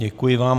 Děkuji vám.